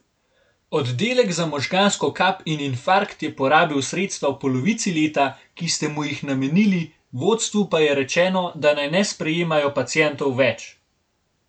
Oddelek za možgansko kap in infarkt je porabil sredstva v polovici leta, ki ste mu jih namenili, vodstvu pa je rečeno, da naj ne sprejemajo pacientov več!